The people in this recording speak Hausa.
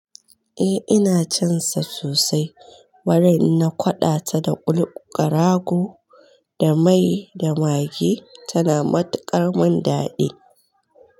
Eh ina cansa sosai, warai in na kwaɗa ta da ƙul ƙarago da mai da magi tana matuƙar man daɗi.